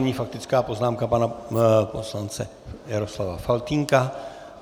Nyní faktická poznámka pana poslance Jaroslava Faltýnka.